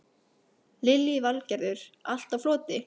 Lillý Valgerður: Allt á floti?